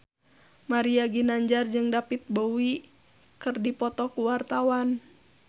Mario Ginanjar jeung David Bowie keur dipoto ku wartawan